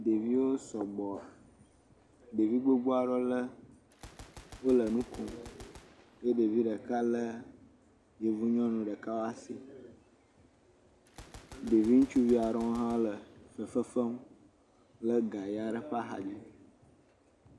Ɖeviwo sɔgbɔ, ɖevi gbogbowo aɖewo le wole nu kom eye ɖevi ɖeka lé yevu ŋutsu ɖeka ƒe asi ɖe asi, ɖevi ŋutsuvi aɖewo hã le fefe fem le ga ʋi aɖe ɖe asi.